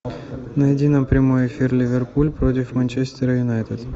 найди нам прямой эфир ливерпуль против манчестера юнайтед